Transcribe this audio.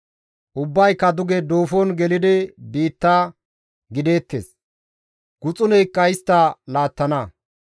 Ubbayka duge duufon gelidi biitta gideettes; guxuneykka istta laattana.